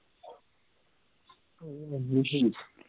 ਉਹ ਵੀ